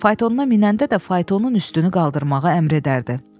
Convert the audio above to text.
Faytona minəndə də faytonun üstünü qaldırmağa əmr edərdi.